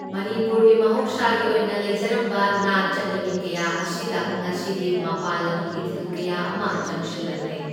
ꯃꯅꯤꯄꯨꯔꯒꯤ ꯃꯍꯧꯁꯥꯒꯤ ꯑꯣꯏꯅ ꯂꯩꯖꯔꯝꯕ ꯅꯥꯠ ꯆꯠꯅꯕꯤ ꯀꯌꯥ ꯑꯁꯤꯗ ꯉꯁꯤꯗꯤ ꯃꯄꯥꯟ ꯂꯝꯒꯤ ꯏꯊꯤꯜ ꯀꯌꯥ ꯑꯃ ꯆꯪꯁꯤꯜꯂꯛꯂꯦ꯫